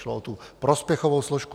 Šlo o tu prospěchovou složku.